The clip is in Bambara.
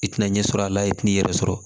I tina ɲɛ sɔrɔ a la i tina yɛrɛ sɔrɔ